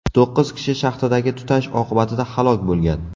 To‘qqiz kishi shaxtadagi tutash oqibatida halok bo‘lgan.